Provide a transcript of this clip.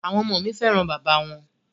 À̀wọn ọmọ mi fẹ́ràn bàbá wọn.